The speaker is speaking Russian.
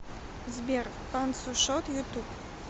сбер панцушот ютуб